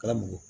Kalabugu